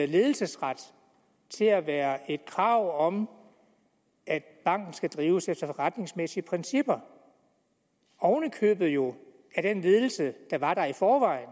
ledelsesretten til at være et krav om at banken skal drives efter forretningsmæssige principper oven i købet jo af den ledelse der var der i forvejen